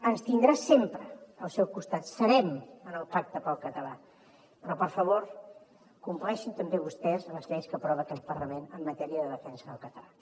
ens tindrà sempre al seu costat serem en el pacte pel català però per favor compleixin també vostès les lleis que aprova aquest parlament en matèria de defensa del català